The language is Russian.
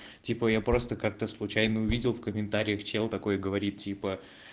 типа я просто как-то случайно увидел в комментариях чел такой говорит типа